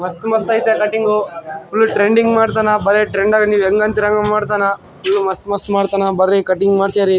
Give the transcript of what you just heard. ಮಸ್ತ್ ಮಸ್ತ್ ಐತೆ ಕಟ್ಟಿಂಗು ಫುಲ್ಲ್ ಟ್ರೆಂಡಿಂಗ್ ಮಾಡ್ತಾನ ಬರೆ ಟ್ರೆಂಡಾಗೆ ನೀವು ಹೆಂಗ್ ಅಂತಾರಿ ಹಂಗ್ ಮಾಡ್ತಾನ ಇನ್ನು ಮಸ್ತ್ ಮಸ್ತ್ ಮಾಡ್ತಾನ ಬರ್ರೀ ಕಟ್ಟಿಂಗ್ ಮಾಡ್ಸ್ಯಾರಿ.